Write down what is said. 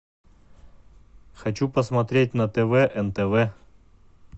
хочу посмотреть на тв нтв